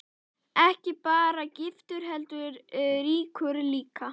Ekki bara giftur heldur ríkur líka.